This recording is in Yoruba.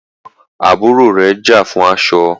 àwọn àbúrò rẹ̀ já fún aṣọ.